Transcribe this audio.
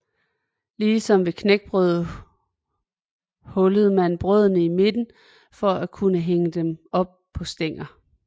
Ligesom ved knækbrød hullede man brødene i midten for at kunne hænge dem op på stænger